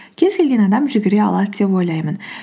кез келген адам жүгіре алады деп ойлаймын